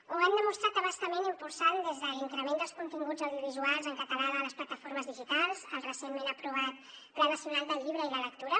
ho hem demostrat a bastament impulsant des de l’increment dels continguts audiovisuals en català de les plataformes digitals el recentment aprovat pla nacional del llibre i la lectura